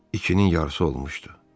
İkinin yarısı olmuşdu.